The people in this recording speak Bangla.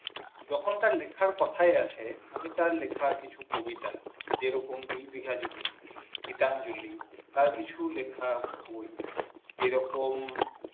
যখন তার লেখার কথাও আছেন আমি তার লেখা কিছু কবিতা যে রকম দুই বিঘা জমি গীতাঞ্জলি তার কিছু লেখা বই যেরকম